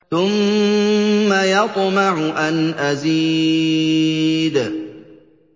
ثُمَّ يَطْمَعُ أَنْ أَزِيدَ